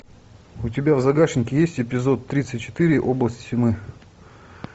у тебя в загашнике есть эпизод тридцать четыре область тьмы